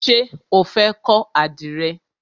Ṣé o fẹ́ kọ́ àdìrẹ?